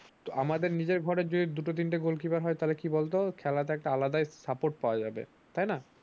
আমাদের নিজের ঘরে যদি দুটো -তিনটা গোলকিপার হয় তাহলে কি বল তো খেলাটাই একটা আলাদা support পাওয়া যাবে